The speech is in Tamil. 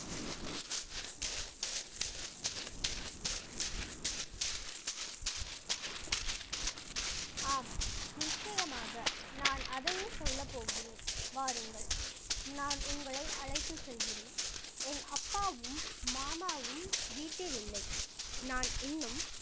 ஆம் நிச்சயமாக நான் அதையே சொல்லப்போகிறேன் வாருங்கள் நான் உங்களை அழைத்து செல்கிறேன் என் அப்பாவும் மாமாவும் வீட்டில் இல்லை நான் இன்னும்